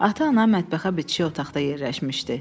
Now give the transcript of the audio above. Ata-ana mətbəxə bitişik otaqda yerləşmişdi.